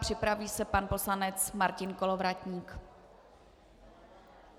Připraví se pan poslanec Martin Kolovratník.